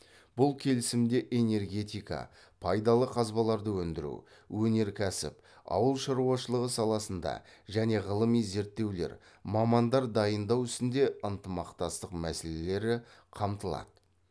бұл келісімде энергетика пайдалы қазбаларды өндіру өнеркәсіп ауыл шаруашылығы саласында және ғылыми зерттеулер мамандар дайындау ісінде ынтымақтастық мәселелері қамтылады